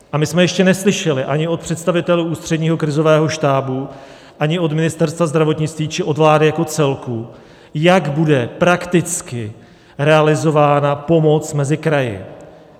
A my jsme ještě neslyšeli ani od představitelů Ústředního krizového štábu, ani od Ministerstva zdravotnictví či od vlády jako celku, jak bude prakticky realizována pomoc mezi kraji.